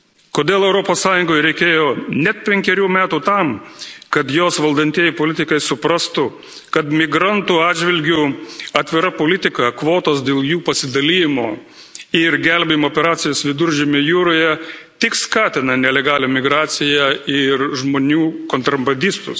Kodėl Europos Sąjungai reikėjo net penkerių metų tam, kad jos valdantieji politikai suprastų, kad migrantų atžvilgiu atvira politika, kvotos dėl jų pasidalijimo ir gelbėjimo operacijos Viduržemio jūroje tik skatina nelegalią migraciją ir žmonių kontrabandistus.